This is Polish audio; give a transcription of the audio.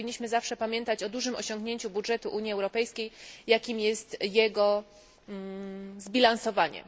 Powinniśmy zawsze pamiętać o dużym osiągnięciu budżetu Unii Europejskiej, jakim jest jego zbilansowanie.